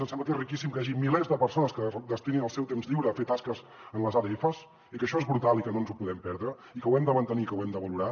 ens sembla que és riquíssim que hi hagi milers de persones que destinin el seu temps lliure a fer tasques en les adfs i que això és brutal i que no ens ho podem perdre i que ho hem de mantenir i que ho hem de valorar